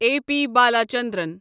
A P Balachandran